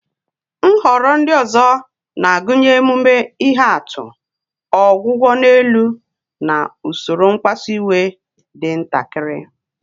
Nhọrọ ndị ọzọ na-agụnye emume ihe atụ, ọgwụgwọ n'elu, na usoro mkpasu iwe dị ntakịrị.